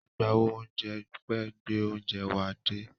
Agbáwo oúnjẹ pẹ́ gbẹ oúnjẹ wa dé.